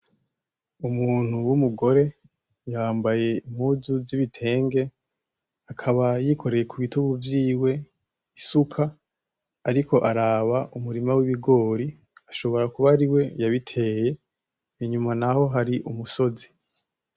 Umuntu w'umugore yambaye impuzu z'ibitenge ,akaba yikoreye kubitugu vyiwe isuka, ariko araba umurima w'bigori ,ashobora kuba ariwe yabiteye, inyuma naho hari umusozi.